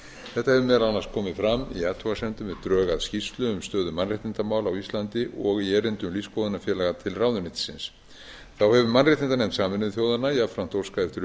þetta hefur meðal annars komið fram í athugasemdum við drög að skýrslu um stöðu mannréttindamála á íslandi og í erindum lífsskoðunarfélaga til ráðuneytisins þá hefur mannréttindanefnd sameinuðu þjóðanna jafnframt óskað eftir upplýsingum